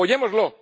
Apoyémoslo.